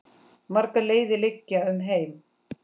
Margar leiðir liggja um heim.